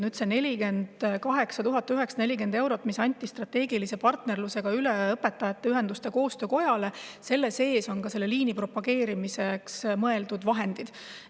Nüüd, selle 48 940 euro sees, mis anti strateegilise partnerlusega üle Õpetajate Ühenduste Koostöökojale, on ka selle liini propageerimiseks mõeldud vahendid.